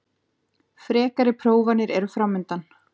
Frekari prófanir eru framundan